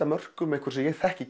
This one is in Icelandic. mörkum einhvers sem ég þekki